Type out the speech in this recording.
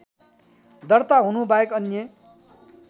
दर्ता हुनुबाहेक अन्य